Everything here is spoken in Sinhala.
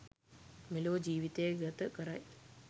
මෙලොව ජීවිතය ගත කරයි.